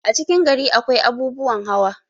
a cikin gari akwai abubuwan hawa